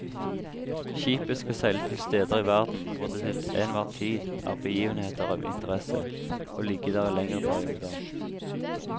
Skipet skal seile til steder i verden hvor det til enhver tid er begivenheter av interesse, og ligge der i lengre perioder.